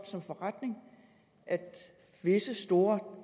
som forretning at visse store